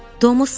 Tom Sayr.